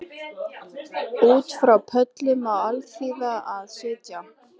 Út frá pöllum á alþýða að sitja